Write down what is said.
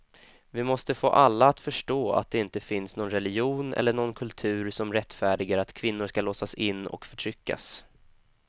Vi måste få alla att förstå att det inte finns någon religion eller någon kultur som rättfärdigar att kvinnor ska låsas in och förtryckas.